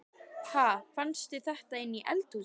Ha! Fannstu þetta inni í eldhúsi?